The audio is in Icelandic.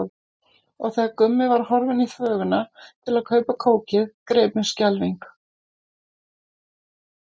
Og þegar Gummi var horfinn í þvöguna til að kaupa kókið greip mig skelfing.